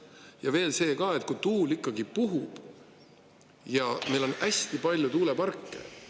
Ja veel see ka, et kui tuul ikkagi puhub ja meil on hästi palju tuuleparke, siis hind …